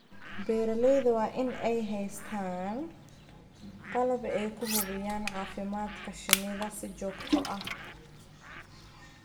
Beeralayda waa in ay haystaan ??qalab ay ku hubinayaan caafimaadka shinnida si joogto ah.